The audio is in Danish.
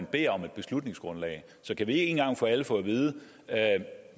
beder om et beslutningsgrundlag så kan vi ikke en gang for alle få at vide